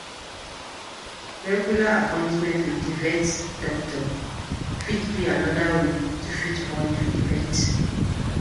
Regular appointment with di vet doctor fit be anoda wey to fit bond with pet